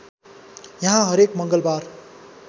यहाँ हरेक मङ्गलबार